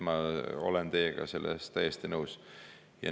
Ma olen teiega selles täiesti nõus.